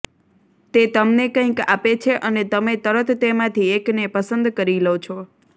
તે તમને કંઇક આપે છે અને તમે તરત તેમાંથી એકને પસંદ કરી લો છો